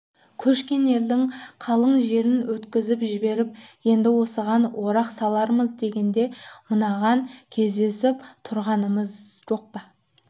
көшкен елдің қалың желін өткізіп жіберіп енді осыған орақ салармыз дегенде мынаған кездесіп тұрғанымыз жоқ па